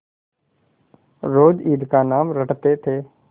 रोज ईद का नाम रटते थे